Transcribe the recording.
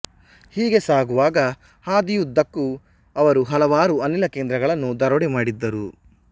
ಹೀಗೆ ಸಾಗುವಾಗ ಹಾದಿಯುದ್ದಕ್ಕೂ ಅವರು ಹಲವಾರು ಅನಿಲ ಕೇಂದ್ರಗಳನ್ನು ದರೋಡೆ ಮಾಡಿದ್ದರು